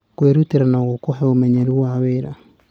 Kwĩrutĩra no gũkũhe ũmenyeru wa wĩra.